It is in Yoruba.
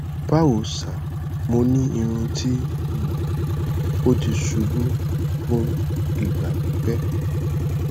bawo sir mo ni irun ti um o ti ṣubu fun igba pipẹ